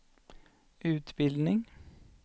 utbildning